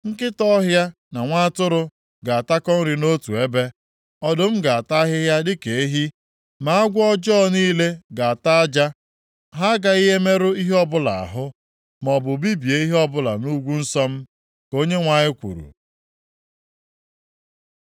Nkịta ọhịa na nwa atụrụ ga-atakọ nri nʼotu ebe, ọdụm ga-ata ahịhịa dịka ehi, ma agwọ ọjọọ niile ga-ata aja! Ha agaghị emerụ ihe ọbụla ahụ, maọbụ bibie ihe ọbụla nʼugwu nsọ m.” Ka Onyenwe anyị kwuru.